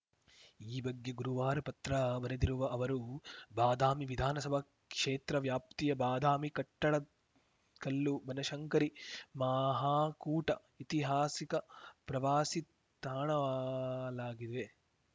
ಈ ಬಗ್ಗೆ ಗುರುವಾರ ಪತ್ರ ಬರೆದಿರುವ ಅವರು ಬಾದಾಮಿ ವಿಧಾನಸಭಾ ಕ್ಷೇತ್ರ ವ್ಯಾಪ್ತಿಯ ಬಾದಾಮಿ ಕಟ್ಟಡದಕಲ್ಲು ಬನಶಂಕರಿ ಮಹಾಕೂಟ ಇತಿಹಾಸಿಕ ಪ್ರವಾಸಿ ತಾಣಲಾಗಿವೆ